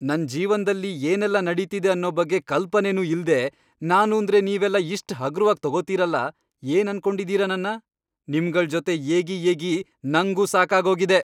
ನನ್ ಜೀವನ್ದಲ್ಲಿ ಏನೆಲ್ಲ ನಡೀತಿದೆ ಅನ್ನೋ ಬಗ್ಗೆ ಕಲ್ಪನೆನೂ ಇಲ್ದೇ ನಾನೂಂದ್ರೆ ನೀವೆಲ್ಲ ಇಷ್ಟ್ ಹಗುರ್ವಾಗ್ ತಗೋತೀರಲ, ಏನನ್ಕೊಂಡಿದೀರ ನನ್ನ? ನಿಮ್ಗಳ್ ಜೊತೆ ಏಗಿ ಏಗಿ ನಂಗೂ ಸಾಕಾಗೋಗಿದೆ.